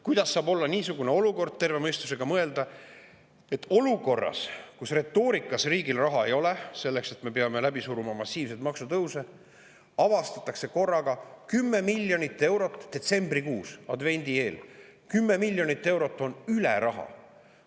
Kuidas saab, kui terve mõistusega mõelda, olla võimalik, et olukorras, kus retoorika riigil raha ei ole ja me peame läbi suruma massiivseid maksutõuse, avastatakse korraga detsembrikuus, advendi ajal, et 10 miljonit eurot on raha üle?